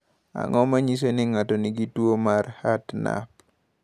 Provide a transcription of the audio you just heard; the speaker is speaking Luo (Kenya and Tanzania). Ang’o ma nyiso ni ng’ato nigi tuo mar Hartnup?